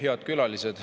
Head külalised!